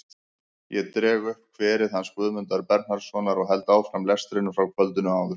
Ég dreg upp kverið hans Guðmundar Bernharðssonar og held áfram lestrinum frá kvöldinu áður.